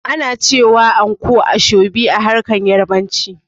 Ana cewa anko "Aso-ibe" a harshen Yarabanci.